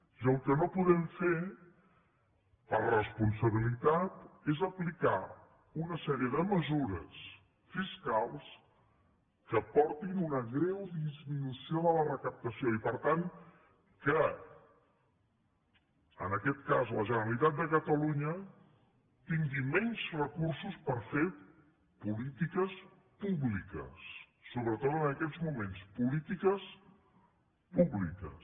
i el que no podem fer per responsabili·tat és aplicar una sèrie de mesures fiscals que portin una greu disminució de la recaptació i per tant que en aquest cas la generalitat de catalunya tingui menys re·cursos per fer polítiques públiques sobretot en aquests moments polítiques públiques